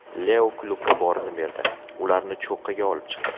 Leo klubga borini berdi, ularni cho‘qqiga olib chiqdi.